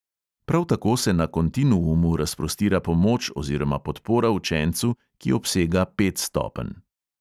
Prav tako se na kontinuumu razprostira pomoč oziroma podpora učencu, ki obsega pet stopenj.